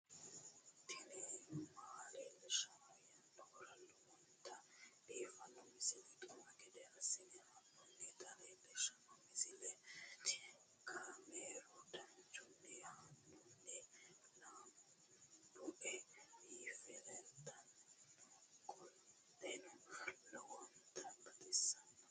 tini maa leelishshanno yaannohura lowonta biiffanota misile xuma gede assine haa'noonnita leellishshanno misileeti kaameru danchunni haa'noonni lamboe biiffe leeeltannoqolten lowonta baxissannoe